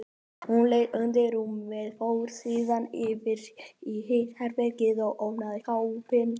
Hún leit undir rúmið, fór síðan yfir í hitt herbergið og opnaði skápinn.